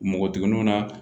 Npogotigininw na